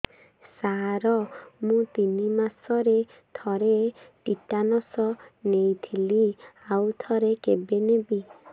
ସାର ମୁଁ ତିନି ମାସରେ ଥରେ ଟିଟାନସ ନେଇଥିଲି ଆଉ ଥରେ କେବେ ନେବି